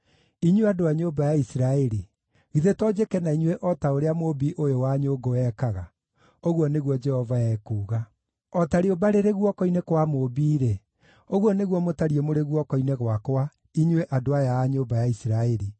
“Inyuĩ andũ a nyũmba ya Isiraeli, githĩ to njĩke na inyuĩ o ta ũrĩa mũũmbi ũyũ wa nyũngũ ekaga?” Ũguo nĩguo Jehova ekuuga. “O ta rĩũmba rĩrĩ guoko-inĩ kwa mũũmbi-rĩ, ũguo nĩguo mũtariĩ mũrĩ guoko-inĩ gwakwa, inyuĩ andũ aya a nyũmba ya Isiraeli.